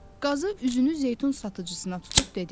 Qazı üzünü zeytun satıcısına tutub dedi: